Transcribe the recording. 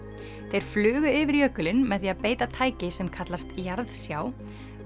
þeir flugu yfir jökulinn með því að beita tæki sem kallast jarðsjá